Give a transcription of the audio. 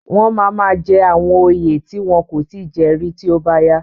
Wọ́n máa máa jẹ àwọn òye tí wọn kò tí ì jẹ rí tí ó bá yá.